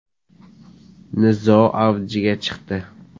Nizo avjiga chiqdi.